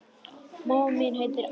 Mamma mín heitir Alda.